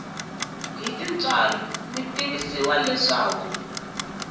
hi tintswalo mi tivisiwa leswaku